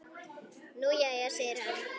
Nú jæja segir hann.